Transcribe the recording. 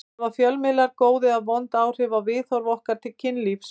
Hafa fjölmiðlar góð eða vond áhrif á viðhorf okkar til kynlífs?